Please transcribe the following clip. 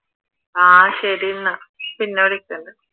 ആഹ് ശരി അന്ന പിന്നെ വിളിക്കാം ന്നാ